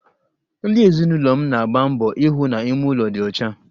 Ndi ezinụlọ m na-agba mbọ ihụ na ime ụlọ dị ọcha